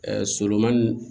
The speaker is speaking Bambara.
solomani